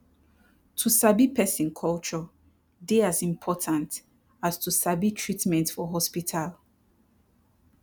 to sabi person culture dey as important as to sabi treatment for hospital